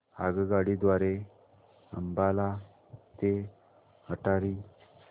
आगगाडी द्वारे अंबाला ते अटारी